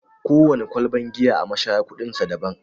Kowana kwalban giya a mashaya kuɗin sa daban.